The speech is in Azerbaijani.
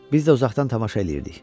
Biz də uzaqdan tamaşa eləyirdik.